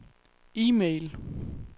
e-mail